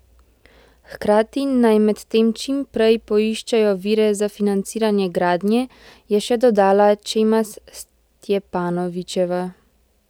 Hkrati naj medtem čim prej poiščejo vire za financiranje gradnje, je še dodala Čemas Stjepanovičeva.